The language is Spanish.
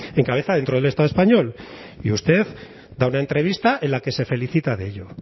en cabeza dentro del estado español y usted da una entrevista en la que se felicita de ello